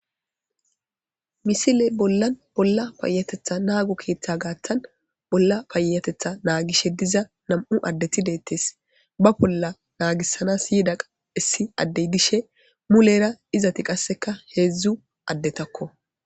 Misile bolan bola payatetha naago keetha gaatan bola payatetha naagishe diza nam'u adeti deethes ba bola naagisanas yida issi ade dishe mulere izeti qaseka heezu adetako.